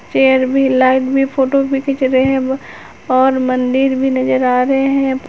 Chair भी light भी photo भी खींच रहे हैं और मंदिर भी नजर आ रहे हैं।